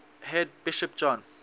head bishop john